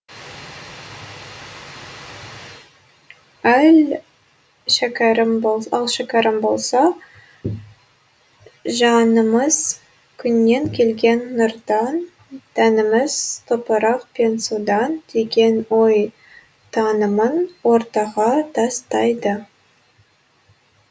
ал шәкәрім болса жанымыз күннен келген нұрдан тәніміз топырақ пен судан деген ой танымын ортаға тастайды